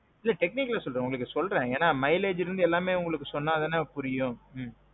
ம்ம். இல்ல technical செல்லல உங்களுக்கு சொல்றேன். ஏன்னா mileageல இருந்து எல்லாமே உங்களுக்கு சொன்னா தானே புரியும்.